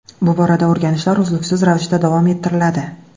Bu borada o‘rganishlar uzluksiz ravishda davom ettiriladi.